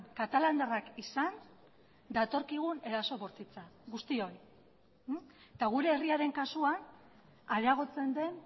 katalandarrak izan datorkigun eraso bortitza guztioi eta gure herriaren kasuan areagotzen den